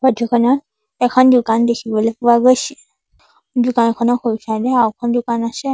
Photo খনত এখন দোকান দেখিবলৈ পোৱা গৈছে দোকানখনৰ সোঁ ছাইড এ আৰু এখন দোকান আছে।